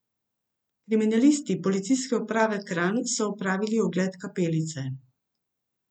Kriminalisti Policijske uprave Kranj so opravili ogled kapelice.